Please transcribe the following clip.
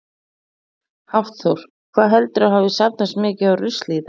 Hafþór: Hvað heldurðu að hafi safnast mikið af rusli í dag?